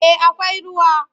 Eh akwai ruwa.